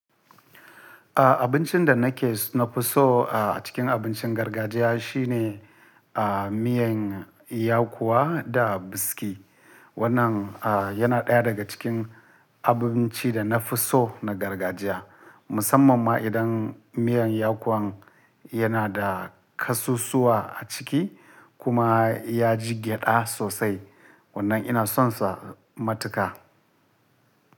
Abincin da nake na fi so a cikin abincin gargajiya shine, ah, miyan yakuwa da biski. Wannan yana ɗaya daga cikin abincin da na fi so na gargajiya. Musamman ma idan miyan yakuwan yana da ƙasusuwa a ciki kuma ya ji gyaɗa sosai. Wannan ina son sa matuƙa.